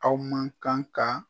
Aw man kan kan